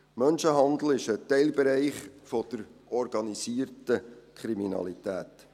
Menschenhandel ist ein Teilbereich der organisierten Kriminalität.